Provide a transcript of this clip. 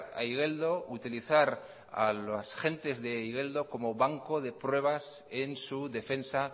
a igeldo utilizar a las gentes de igeldo como banco de pruebas en su defensa